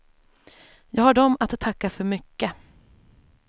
Jag har dem att tacka för mycket.